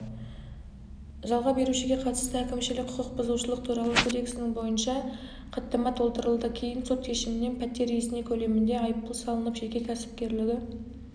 жалға берушіге қатысты әкімшілік құқық бұзушылық туралы кодексінің бойынша хаттама толтырылды кейін сот шешімімен пәтер иесіне көлемінде айыппұл салынып жеке кәсіпкерлігі